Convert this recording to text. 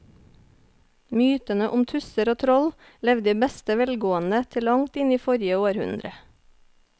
Mytene om tusser og troll levde i beste velgående til langt inn i forrige århundre.